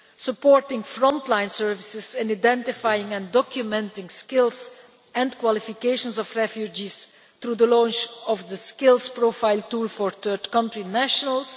supporting frontline services and identifying and documenting the skills and qualifications of refugees through the launch of the skills profile tool for third-country nationals